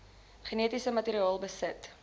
genetiese materiaal besit